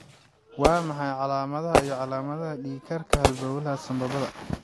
Waa maxay calaamadaha iyo calaamadaha dhiig-karka halbowlaha sambabada?